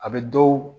A bɛ dɔw